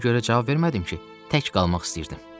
Ona görə cavab vermədim ki, tək qalmaq istəyirdim.